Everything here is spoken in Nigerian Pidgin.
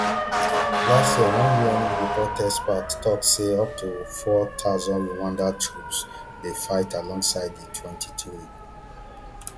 last year one un experts report tok say up to four thousand rwandan troops dey fight alongside di mtwenty-three